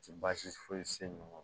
Ti baasi foyi se ninnu